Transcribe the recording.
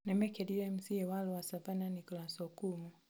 Nĩ mĩĩkerire MCA wa lower Savannah Nicholas Okumu.